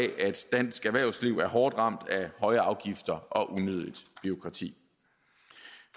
dansk erhvervsliv er hårdt ramt af høje afgifter og unødigt bureaukrati